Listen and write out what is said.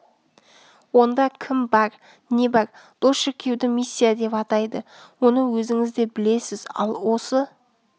онда кім бар не бар бұл шіркеуді миссия деп атайды оны өзіңіз де білесіз ал осы